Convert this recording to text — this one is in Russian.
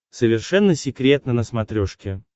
совершенно секретно на смотрешке